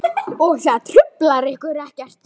Og það truflar ykkur ekkert?